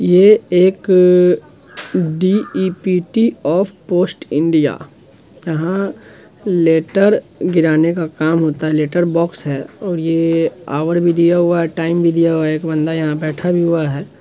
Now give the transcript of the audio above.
ये एक department. Of post India | यंहा लेटर गिराने का काम होता है लेटर बॉक्स है| और ये ऑवर भी दिया हुआ है टाइम दिया हुआ है| एक बंदा यहाँ बैठा भी हुआ है।